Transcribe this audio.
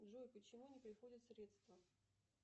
джой почему не приходят средства